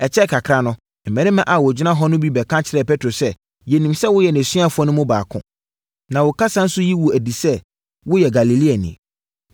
Ɛkyɛɛ kakra no, mmarima a wɔgyina hɔ no bi bɛka kyerɛɛ petro sɛ, “Yɛnim sɛ woyɛ nʼasuafoɔ no mu baako, na wo kasa nso yi wo adi sɛ woyɛ Galileani.”